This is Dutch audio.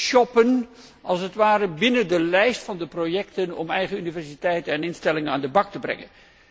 'shoppen' binnen de lijst van de projecten om eigen universiteiten en instellingen aan de bak te brengen.